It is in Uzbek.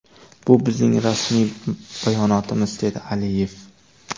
Bu bizning rasmiy bayonotimiz”, dedi Aliyev.